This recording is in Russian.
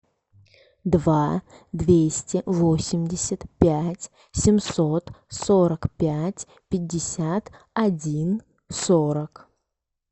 два двести восемьдесят пять семьсот сорок пять пятьдесят один сорок